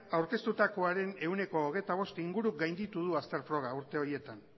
aurkeztutakoaren ehuneko hogeita bost inguru gainditu du azter froga urte horietan